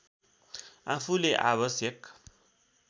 आफूले आवश्यक